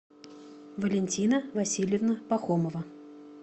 валентина васильевна пахомова